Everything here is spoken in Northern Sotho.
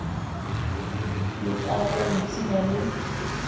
le ka go ipshina le